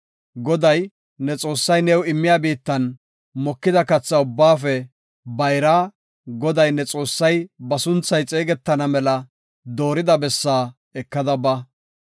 Goday, ne Xoossay new immiya biittan mokida katha ubbaafe bayraa, Goday ne Xoossay ba sunthay xeegetana mela doorida bessaa ekada ba.